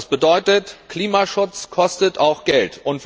Das bedeutet Klimaschutz kostet auch Geld!